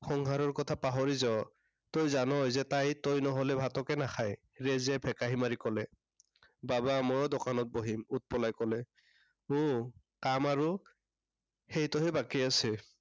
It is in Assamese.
সংসাৰৰ কথা পাহৰি যাৱ। তই জানই যে তই নহলে ভাতকে নেখায়, ৰেজিয়াই ভেকাহি মাৰি কলে। বাবা মইও দোকানত বহিম, উৎপলাই কলে। উম কাম আৰু সেইটোহে বাকী আছে।